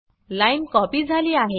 line copy झाली आहे